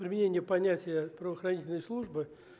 применение понятия правоохранительной службы